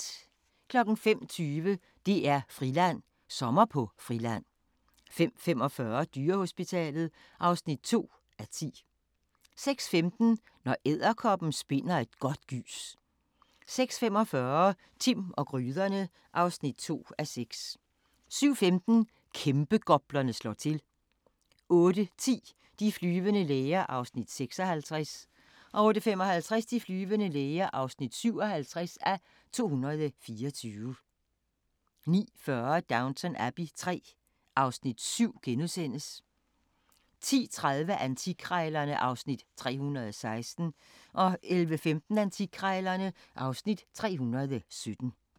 05:20: DR-Friland: Sommer på Friland 05:45: Dyrehospitalet (2:10) 06:15: Når edderkoppen spinder et godt gys 06:45: Timm og gryderne (2:6) 07:15: Kæmpegoplerne slår til 08:10: De flyvende læger (56:224) 08:55: De flyvende læger (57:224) 09:40: Downton Abbey III (Afs. 7)* 10:30: Antikkrejlerne (Afs. 316) 11:15: Antikkrejlerne (Afs. 317)